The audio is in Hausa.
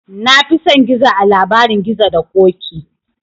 Na fi son gizo a labarin gizo da ƙoƙi